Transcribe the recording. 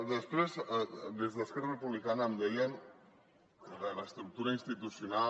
després des d’esquerra republicana em deien de l’estructura institucional